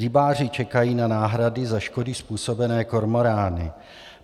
Rybáři čekají na náhrady za škody způsobené kormorány.